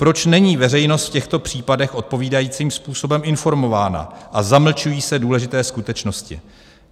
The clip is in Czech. Proč není veřejnost v těchto případech odpovídajícím způsobem informována a zamlčují se důležité skutečnosti?